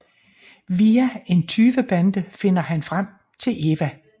Via en tyvebande finder han frem til Eva